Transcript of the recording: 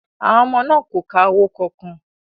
Àwọn ọmọ náà kò ka owó kankan